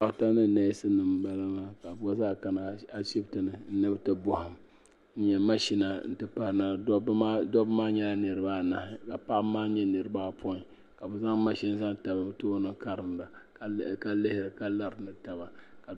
Dɔkta ni nɛɛsi nima n bala maa ka bi gba zaa kana ashibiti ni ni bi ti bɔhim n nyɛ mashina dɔbba maa nyɛla niriba anahi ka paɣaba maa nyɛ niriba apɔyiŋ ka zaŋ mashini zaŋ tabi li bi tooni karinda ka lihiri ka lari ni taba.